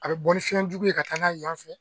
A bɛ bɔ ni fiɲɛ jugu ye ka taa n'a ye yan fɛ.